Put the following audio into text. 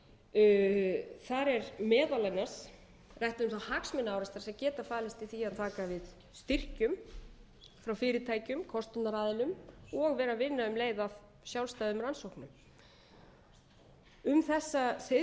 niðurstöður þar er meðal annars rætt um hagsmunaárekstra sem geta falist í því að taka við styrkjum frá fyrirtækjum kostunaraðilum og vera að vinna um leið að sjálfstæðum rannsóknum um þessa